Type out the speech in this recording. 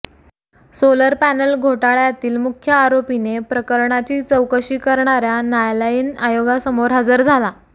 solar panel घोटाळ्यातील मुख्य आरोपीने प्रकरणाची चौकशी करणाऱ्या न्यायालयीन आयोगासमोर हजर झाला